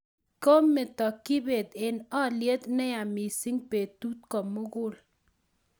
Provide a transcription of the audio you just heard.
Komito kibet eng' alyet ne yaa mising' betut ko mug'ul